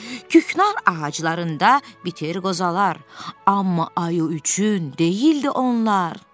Küknar ağaclarında bitir qozalar, amma ayı üçün deyildi onlar.